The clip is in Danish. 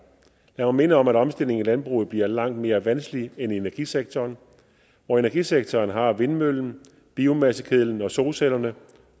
jeg må minde om at omstillingen i landbruget bliver langt mere vanskelig end i energisektoren hvor energisektoren har vindmøllen biomassekedlen og solcellerne